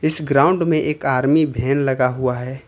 इस ग्राउंड में एक आर्मी वैन लगा हुआ है।